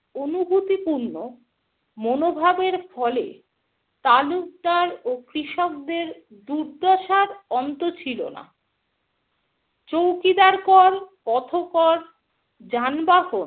অনুভূতি পূর্ণ মনোভাবের ফলে তালুকদার ও কৃষকদের দুর্দশার অন্ত ছিল না । চৌকিদার কর, পথকর, যানবাহন